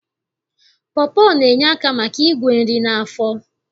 Pọpọ na-enye aka maka igwe nri n'afọ